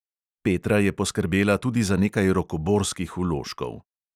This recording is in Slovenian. Petra je poskrbela tudi za nekaj rokoborskih vložkov.